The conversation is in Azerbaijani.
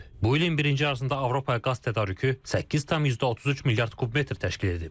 Bu ilin birinci yarısında Avropaya qaz tədarükü 8,33 milyard kubmetr təşkil edib.